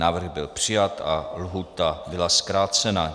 Návrh byl přijat a lhůta byla zkrácena.